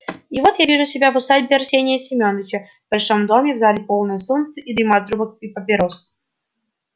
и вот я вижу себя в усадьбе арсения семёновича в большом доме в зале полной солнца и дыма от трубок и папирос